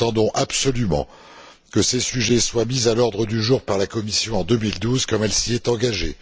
Nous attendons absolument que ces sujets soient mis à l'ordre du jour par la Commission, en 2012, comme elle s'y est engagée.